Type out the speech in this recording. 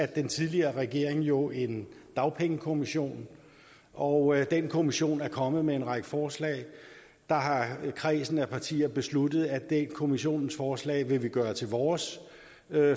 den tidligere regering jo en dagpengekommission og den kommission er kommet med en række forslag der har kredsen af partier besluttet at det kommissionsforslag vil vi gøre til vores